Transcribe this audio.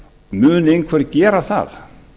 mun einhver gera það